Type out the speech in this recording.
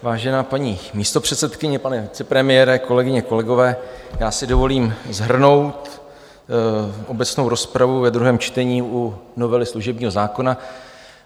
Vážená paní místopředsedkyně, pane vicepremiére, kolegyně, kolegové, já si dovolím shrnout obecnou rozpravu ve druhém čtení u novely služebního zákona.